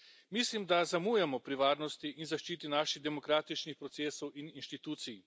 Mislim, da zamujamo pri varnosti in zaščiti naših demokratičnih procesov in inštitucij.